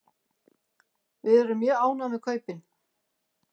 Við erum mjög ánægð með kaupin.